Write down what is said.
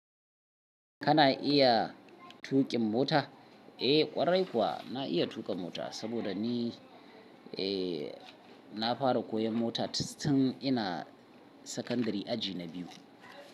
Kana iya tuƙin mota? Eh, ƙwarai kuwa na iya tuƙa mota saboda ni, eh, na fara koyon mota tun ina sakandari aji na biyu.